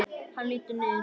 Hann lítur niður til mín.